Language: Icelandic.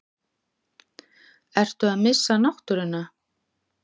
Ertu að missa náttúruna?